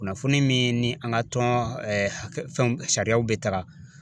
Kunnafoni min ni an ka tɔn fɛnw sariyaw bɛ taga.